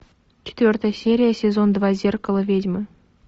четвертая серия сезон два зеркало ведьмы